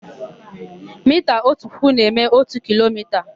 Mita ótù puku na-eme ótù kilomita.